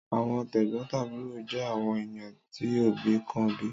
Àwọn tẹ̀gbón-tàbúro jé àwọn ènìyàn tí òbí kan bí